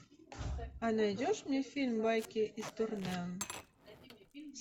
а найдешь мне фильм байки из турне